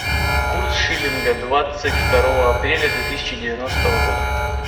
курс шиллинга двадцать второго апреля две тысячи девяностого года